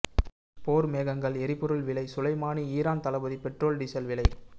போர் மேகங்கள் எரிபொருள் விலை சுலைமாணி ஈரான் தளபதி பெட்ரோல் டீசல் விலை